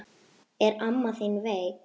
Er amma þín veik?